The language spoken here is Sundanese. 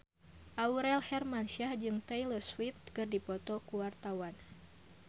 Aurel Hermansyah jeung Taylor Swift keur dipoto ku wartawan